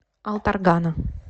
алтаргана